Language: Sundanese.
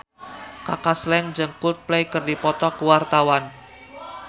Kaka Slank jeung Coldplay keur dipoto ku wartawan